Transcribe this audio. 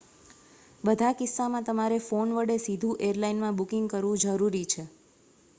બધા કિસ્સામાં તમારે ફોન વડે સીધું એરલાઇનમાં બુકિંગ કરવું જરૂરી છે